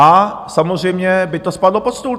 A samozřejmě by to spadlo pod stůl.